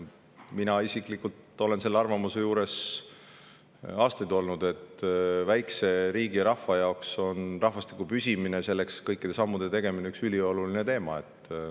Mina isiklikult olen aastaid olnud arvamusel, et väikese riigi rahva jaoks on rahvastiku püsimine ja selle nimel kõikide sammude tegemine ülioluline.